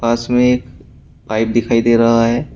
पास में पाइप दिखाई दे रहा है।